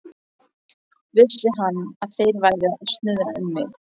Vissi hann, að þeir væru að snuðra um mig?